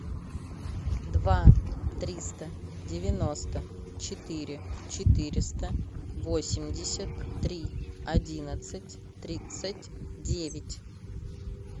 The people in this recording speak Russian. два триста девяносто четыре четыреста восемьдесят три одиннадцать тридцать девять